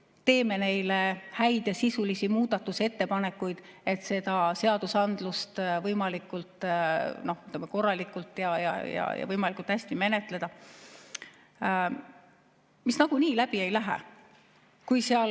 me teeme nende kohta häid ja sisulisi muudatusettepanekuid, võimalikult korralikult ja võimalikult hästi menetleda, kuigi meie ettepanekud nagunii läbi ei lähe?